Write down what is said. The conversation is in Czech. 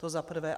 To za prvé.